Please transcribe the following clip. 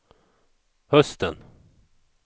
hösten